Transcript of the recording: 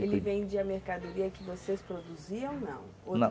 Ele vendia a mercadoria que vocês produziam ou não? Na